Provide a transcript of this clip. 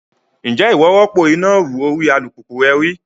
Ǹjẹ́ ìwọ rọ́pò iná ìrù orí alùpùpù rẹ rí?